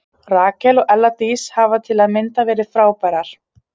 Rakel og Ella Dís hafa til að mynda verið frábærar.